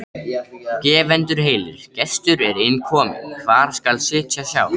Gefendur heilir, gestur er inn kominn, hvar skal sitja sjá?